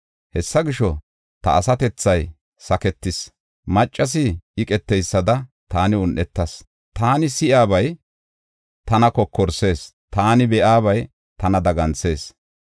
Hessa gisho ta asatethay saketis; maccasi eqeteysada taani un7etas. Taani si7iyabay tana kokorsis; taani be7iyabay tana daganthis.